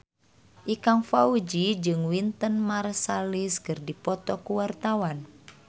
Ikang Fawzi jeung Wynton Marsalis keur dipoto ku wartawan